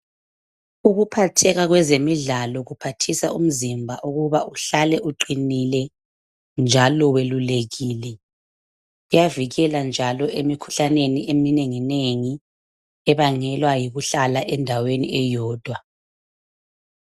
Ukuphatheka kwezemidlalo kuphathisa umzimba ukuba uhlale uqinile njalo welulekile iyavikela njalo emikhuhlaneni eminengi-nengi ebangelwa yikuhlala endaweni eyodwa.